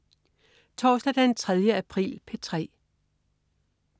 Torsdag den 3. april - P3: